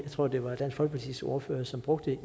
tror det var dansk folkepartis ordfører som brugte